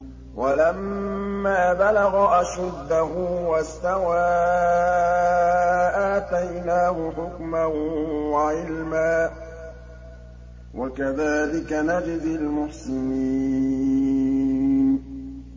وَلَمَّا بَلَغَ أَشُدَّهُ وَاسْتَوَىٰ آتَيْنَاهُ حُكْمًا وَعِلْمًا ۚ وَكَذَٰلِكَ نَجْزِي الْمُحْسِنِينَ